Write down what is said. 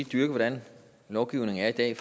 dyrke hvordan lovgivningen er i dag